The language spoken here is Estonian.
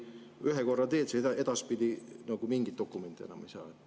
Ühe korra teed seda, edaspidi nagu mingit dokumenti enam ei saa.